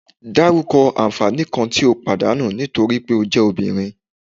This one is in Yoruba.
Daruko anfani kan ti o padanu nitori pe o je Obinrin